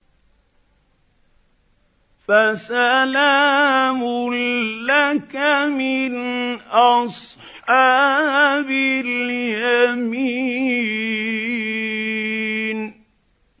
فَسَلَامٌ لَّكَ مِنْ أَصْحَابِ الْيَمِينِ